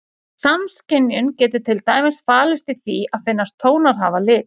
Samskynjun getur til dæmis falist í því að finnast tónar hafa lit.